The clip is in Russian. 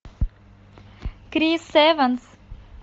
крис эванс